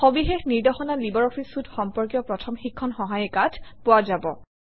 সবিশেষ নিৰ্দেশনা লাইব্ৰঅফিছ চুইতে সম্পৰ্কীয় প্ৰথম শিক্ষণ সহায়িকাত পোৱা যাব